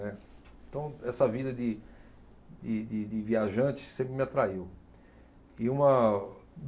É. Então, essa vida de, de, de, de viajante sempre me atraiu. E uma